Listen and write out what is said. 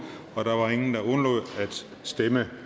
stemte